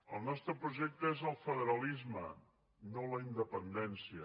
el nostre projecte és el federalisme no la independència